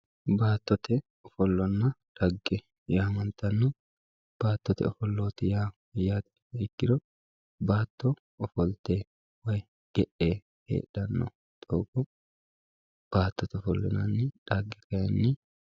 baattote ofollonna xagge yaamantanno baattote ofollo yaa mayyate yiniha ikkiro baatto ofolte woyi ge'e heedhanno doogo baattote ofollo yinanni xagge kayiinni ...